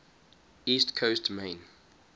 east coast maine